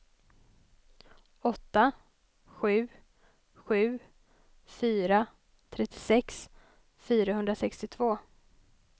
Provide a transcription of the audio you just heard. åtta sju sju fyra trettiosex fyrahundrasextiotvå